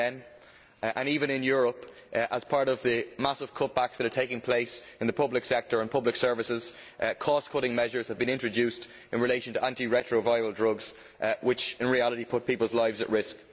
2010. Even in Europe, as part of the massive cutbacks that are taking place in the public sector and in public services, cost cutting measures have been introduced in relation to anti retroviral drugs, a move which in reality puts people's lives at risk.